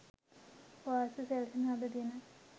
වාසි සැලසෙන අද දින